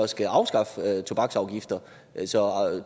skal afskaffe tobaksafgifter så